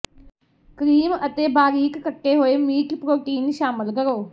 cream ਅਤੇ ਬਾਰੀਕ ਕੱਟੇ ਹੋਏ ਮੀਟ ਪ੍ਰੋਟੀਨ ਸ਼ਾਮਲ ਕਰੋ